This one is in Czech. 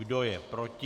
Kdo je proti?